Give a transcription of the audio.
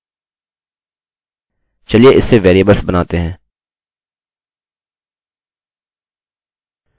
अतः 0 1 2 3 4 के स्थान पर हम असली नाम उपयोग करेंगे